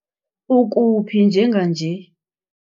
Ukuphi njenganje?